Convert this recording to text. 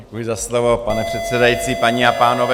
Děkuji za slovo, pane předsedající, paní a pánové.